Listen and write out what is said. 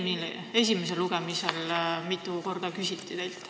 Seda küsiti teilt mitu korda ka esimesel lugemisel.